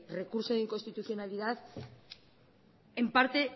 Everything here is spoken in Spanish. recurso de inconstitucionalidad en parte